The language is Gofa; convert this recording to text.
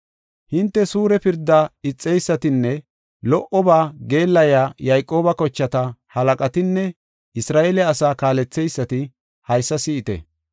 Hinte suure pirdaa ixeysatinne lo77oba geellayiya Yayqooba kochata halaqatinne Isra7eele asaa kaaletheysati haysa si7ite.